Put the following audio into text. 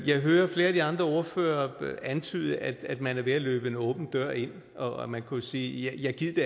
jeg hører flere af de andre ordførere antyde at man er ved at løbe en åben dør ind og man kunne jo sige ja gid det